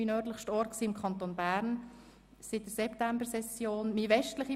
Dies war Biel, das ich seit der Septembersession mehrmals besucht habe.